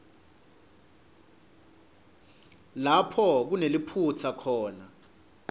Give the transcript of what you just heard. lapho kuneliphutsa khona